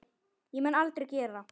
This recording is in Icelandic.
Og mun aldrei gera.